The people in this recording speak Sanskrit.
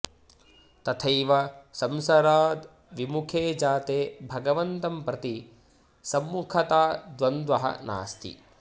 तथैव संसाराद् विमुखे जाते भगवन्तं प्रति सम्मुखता द्वन्द्वः नास्ति